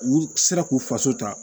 U sera k'u faso ta